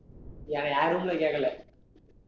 எ~ என் room ல கேக்கல